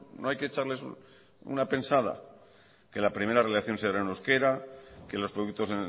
no hay que echarles una pensada que la primera reelección se hará en euskera que los productos